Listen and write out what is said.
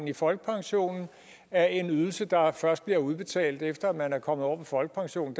i folkepensionen af en ydelse der først bliver udbetalt efter at man er kommet over på folkepension